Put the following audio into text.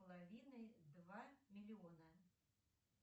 половины два миллиона